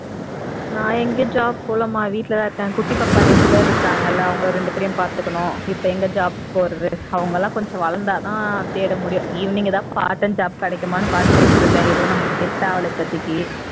நான் எங்கே job போகலாமா வீட்லதான் இருக்கேன் குட்டி பாப்பா ரெண்டு பேரும் இருக்காங்க இல்ல அவங்க ரெண்டு பேரையும் பாத்துக்கணும் இப்ப எங்க job போறது அவங்க எல்லாம் கொஞ்சம் வளர்ந்தா தான் தேட முடியும் evening ஏதாவது part time job கிடைக்குமான்னு பார்த்துகிட்டு இருக்கேன் எதுவும் set ஆகல இப்போதைக்கு